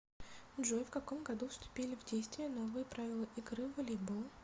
джой в каком году вступили в действие новые правила игры в волейбол